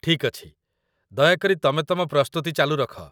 ଠିକ୍ ଅଛି, ଦୟାକରି ତମେ ତମ ପ୍ରସ୍ତୁତି ଚାଲୁ ରଖ